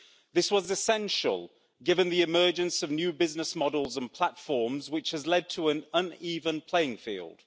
This was essential, given the emergence of new business models and platforms, which has led to an un even playing field.